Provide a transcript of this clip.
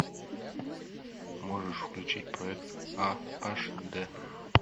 можешь включить проект а аш д